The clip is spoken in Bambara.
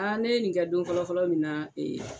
ne ye nin kɛ don fɔlɔ fɔlɔ min na